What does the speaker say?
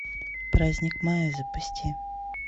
праздник мая запусти